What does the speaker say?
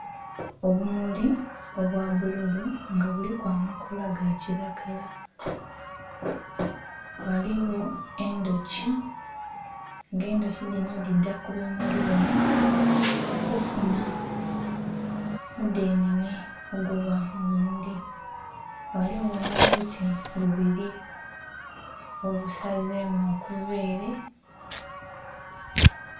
Obumuli obwa bbululu nga buliku amakoola ga kilagala, ghaligho endhuki nga endhuki dhinho dhidha ku bimuli bino kufunha mudhenhenhe oguba mu bimuli. Ghaligho n'obuti bubili busazemu okuva ele...